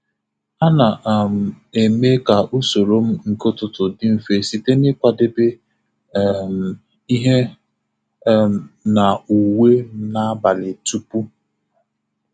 A na um m eme ka usoro m nke ụtụtụ dị mfe site n'ikwadebe um ihe um na uwe m n'abalị tupu.